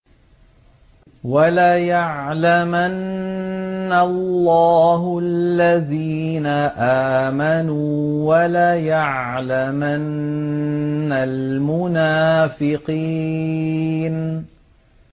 وَلَيَعْلَمَنَّ اللَّهُ الَّذِينَ آمَنُوا وَلَيَعْلَمَنَّ الْمُنَافِقِينَ